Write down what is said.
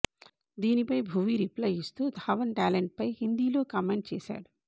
దీనిపై భువీ రిప్లై ఇస్తూ ధావన్ టాలెంట్పై హిందీలో కామెంట్ చేశాడు